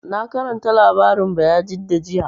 Na karanta labarin Bayajidda jiya